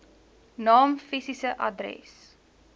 naam fisiese adres